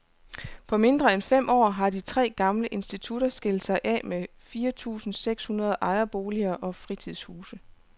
På mindre end fem år har de tre gamle institutter skilt sig af med fire tusinde seks hundrede ejerboliger og fritidshuse.